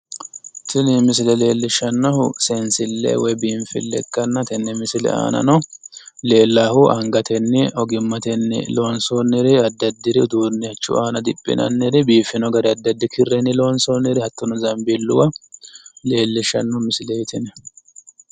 Tini misile leellishshannohu seensille woyi biinfille ikkanna tenne misile aanano leellaahu angatenni ogimmatenni lonsoonniri addi addiri uduunnichchu aana diphinanniri biifino gari addi addi kirrenni lonssoonniri hattono zanbeelluwa leellishshanno misileeti